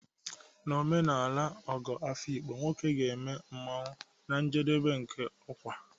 N'omenala ogo Afikpo, nwoke ga-eme masquerade na njedebe nke ọkwa